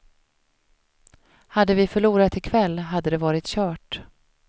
Hade vi förlorat i kväll hade det varit kört.